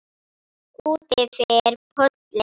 Útyfir pollinn